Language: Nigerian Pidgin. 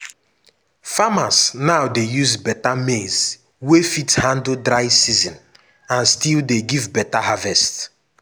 farmers now dey use beta maize wey fit handle dry season and still give beta harvest.